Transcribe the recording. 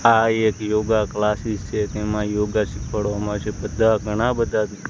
આ એક યોગા ક્લાસિસ છે તેમા યોગા શીખવાડવામા જે બધા ઘણા બધા--